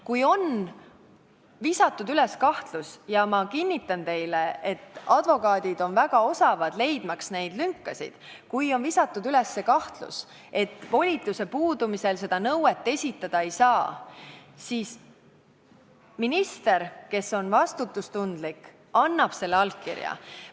Kui on visatud õhku kahtlus – ja ma kinnitan teile, et advokaadid on väga osavad, leidmaks neid lünkasid –, et volituse puudumise korral seda nõuet esitada ei saa, siis minister, kes on vastutustundlik, annab selle allkirja.